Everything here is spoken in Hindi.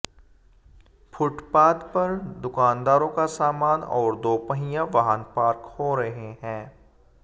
फुटपाथ पर दुकानदारों का सामान और दोपहिया वाहन पार्क हो रहे हैं